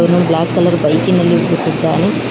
ಇನ್ನೊಂದು black colour ಬೈಕಿನಲ್ಲಿ ಕುಳಿತಿದ್ದಾನೆ.